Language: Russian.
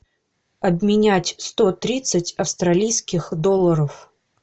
обменять сто тридцать австралийских долларов